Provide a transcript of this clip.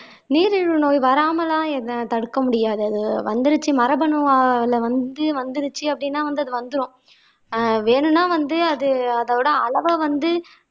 நீரிழிவு நோய் வராமெல்லாம் என்னை தடுக்க முடியாது அது வந்திடுச்சு மரபணுல வந்திடுச்சு வந்திருச்சு அப்படின்னா அது வந்துரும் வேணும்னா வந்து அது அதோட அளவை வந்து